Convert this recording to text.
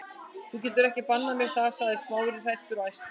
Þú getur ekki bannað mér það- sagði Smári, hræddur og æstur.